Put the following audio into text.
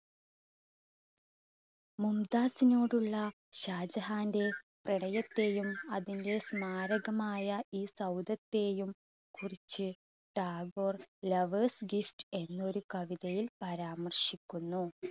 മുംതാസിനോടുള്ള ഷാജഹാന്റെ പ്രണയത്തെയും അതിൻറെ സ്മാരകമായ ഈ സൗദത്തെയും കുറിച്ച് ടാഗോർ ലവേഴ്സ് ഗിഫ്റ്റ് എന്നൊരു കവിതയിൽ പരാമർശിക്കുന്നു.